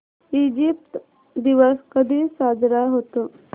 Egypt दिवस कधी साजरा होतो